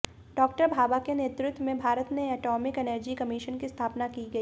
doctor Bhabha के नेतृत्व में भारत में एटॉमिक एनर्जी कमीशन की स्थापना की गई